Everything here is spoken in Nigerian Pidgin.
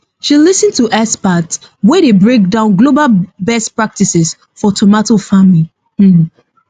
she lis ten to experts wey dey break down global best practices for tomato farming um